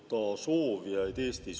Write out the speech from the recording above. Miks teie ja valetajate valitsus seda tahate?